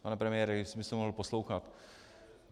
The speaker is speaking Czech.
Pane premiére, jestli byste mohl poslouchat.